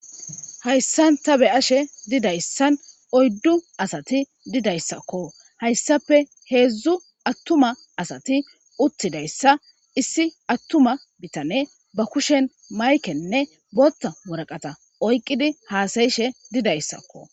hayssan ta be7ashe didayssan oyddu asati didayssakko hayssape heedzdzu attuma asati uttidayssa issi attuma bitane ba kushen maykenne botta woraqata oyqqidi haasayishe didayssakko